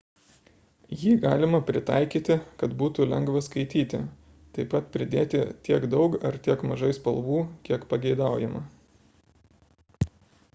jį galima pritaikyti kad būtų lengva skaityti taip pat pridėti tiek daug ar tiek mažai spalvų kiek pageidaujama